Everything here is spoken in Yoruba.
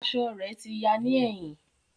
Aṣọ rẹ ti ya ni ẹhin.